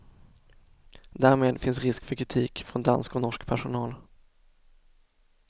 Därmed finns risk för kritik från dansk och norsk personal.